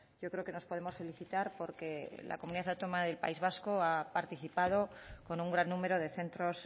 yo creo que nos podemos felicitar porque la comunidad autónoma del país vasca ha participado con un gran número de centros